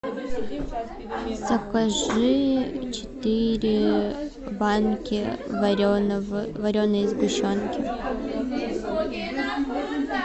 закажи четыре банки вареной сгущенки